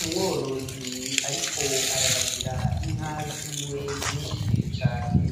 Umworozi ariko araragira inka ziwe zinshi cane